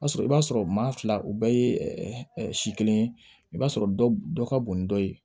O y'a sɔrɔ i b'a sɔrɔ maa fila u bɛɛ ye si kelen ye i b'a sɔrɔ dɔ dɔ ka bon ni dɔ ye